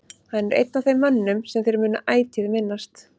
Hann er einn af þeim mönnum sem þeir munu ætíð minnast.